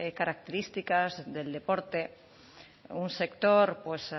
características del deporte un sector pues